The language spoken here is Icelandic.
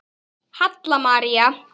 Halla María.